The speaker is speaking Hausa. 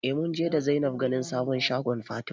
Eh munje da Zainab ganin sabon shagon Fatima